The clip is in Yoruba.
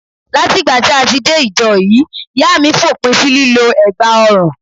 Láti ìgbà tí a ti dé ìjọ yìí, ìyá mi fòpin sí lílọ egbà ọrùn.